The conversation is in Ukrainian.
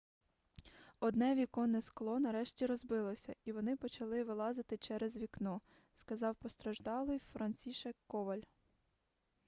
одне віконне скло нарешті розбилося і вони почали вилазити через вікно сказав постраждалий францішек коваль